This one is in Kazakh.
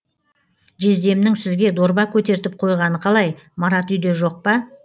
жездемнің сізге дорба көтертіп қойғаны қалай марат үйде жоқ па